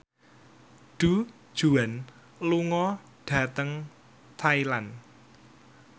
Du Juan lunga dhateng Thailand